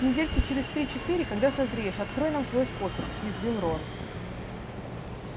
недельки через три-четыре когда созреешь открой нам свой способ съязвил рон